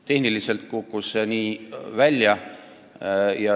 Tehniliselt kukkus see nii välja.